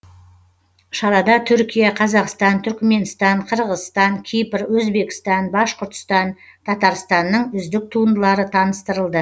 шарада түркия қазақстан түрікменстан қырғызстан кипр өзбекстан башқұртстан татарстанның үздік туындылары таныстырылды